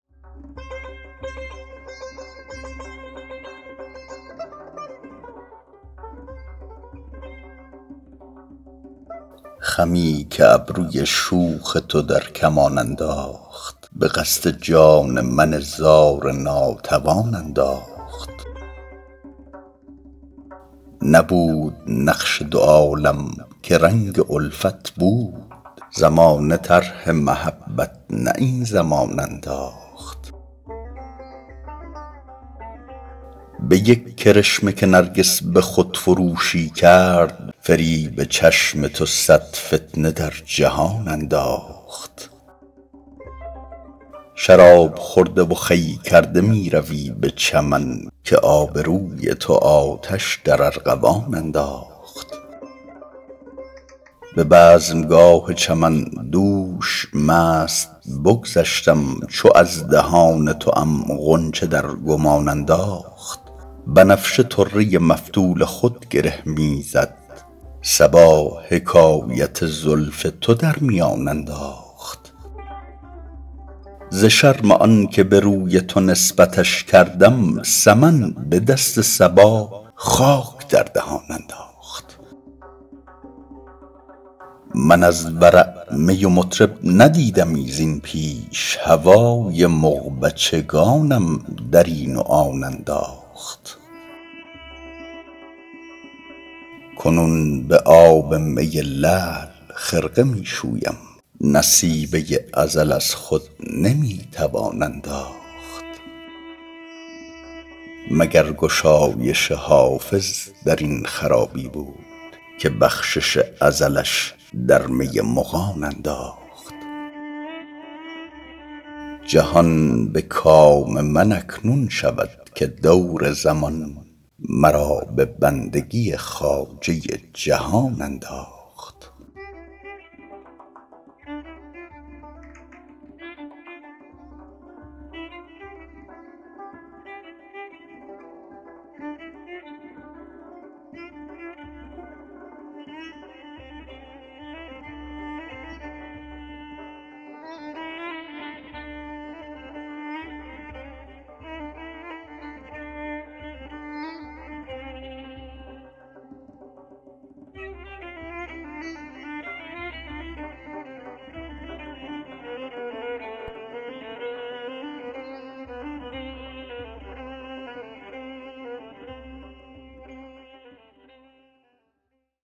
خمی که ابروی شوخ تو در کمان انداخت به قصد جان من زار ناتوان انداخت نبود نقش دو عالم که رنگ الفت بود زمانه طرح محبت نه این زمان انداخت به یک کرشمه که نرگس به خودفروشی کرد فریب چشم تو صد فتنه در جهان انداخت شراب خورده و خوی کرده می روی به چمن که آب روی تو آتش در ارغوان انداخت به بزمگاه چمن دوش مست بگذشتم چو از دهان توام غنچه در گمان انداخت بنفشه طره مفتول خود گره می زد صبا حکایت زلف تو در میان انداخت ز شرم آن که به روی تو نسبتش کردم سمن به دست صبا خاک در دهان انداخت من از ورع می و مطرب ندیدمی زین پیش هوای مغبچگانم در این و آن انداخت کنون به آب می لعل خرقه می شویم نصیبه ازل از خود نمی توان انداخت مگر گشایش حافظ در این خرابی بود که بخشش ازلش در می مغان انداخت جهان به کام من اکنون شود که دور زمان مرا به بندگی خواجه جهان انداخت